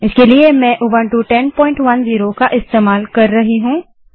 इसके लिए में उबंटू 1010 का इस्तेमाल कर रही हूँ